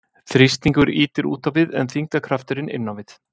þrýstingur ýtir út á við en þyngdarkrafturinn inn á við